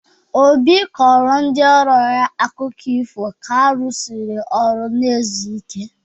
Obi kọrọ ndị ọrụ ya akụkọ ifo ka ha rụsịrị ọrụ na-ezu ike.